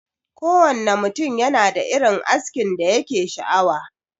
Kowanne ne mutum yanada irin askin da yake sha'awa.